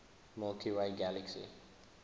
milky way galaxy